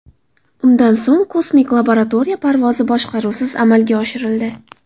Undan so‘ng kosmik laboratoriya parvozi boshqaruvsiz amalga oshirildi.